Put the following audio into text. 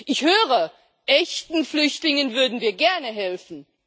Ich höre, echten Flüchtlingen würden wir gerne helfen.